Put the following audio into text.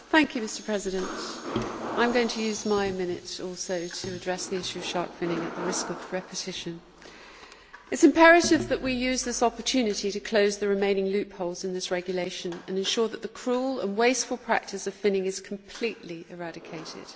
Mr President, I am also going to use my minute to address the issue of shark finning, at the risk of repetition. It is imperative that we use this opportunity to close the remaining loopholes in this regulation and ensure that the cruel and wasteful practice of finning is completely eradicated.